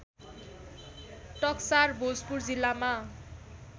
टक्सार भोजपुर जिल्लामा